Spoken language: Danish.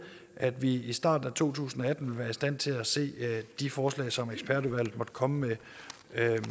at vi i starten af to tusind og atten vil være i stand til at se de forslag som ekspertudvalget måtte komme